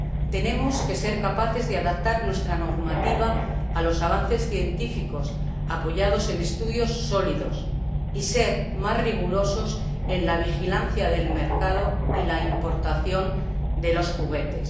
Tenemos que ser capaces de adaptar nuestra normativa a los avances científicos, apoyados en estudios sólidos, y ser más rigurosos en la vigilancia del mercado y la importación de los juguetes.